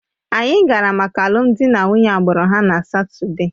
Anyị gara maka alụmdi na nwunye agbụrụ ha na Satọde